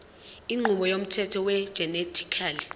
inqubo yomthetho wegenetically